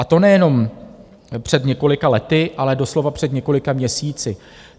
A to nejenom před několika lety, ale doslova před několika měsíci.